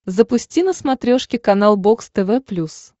запусти на смотрешке канал бокс тв плюс